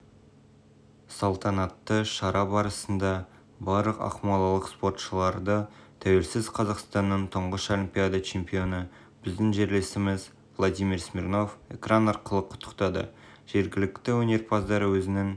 салтанатты шара барысында барлық ақмолалық спортшыларды тәуелсіз қазақстанның тұңғыш олимпиада чемпионы біздің жерлесіміз владимир смирнов экран арқылы құттықтады жергілікті өнерпаздар өзінің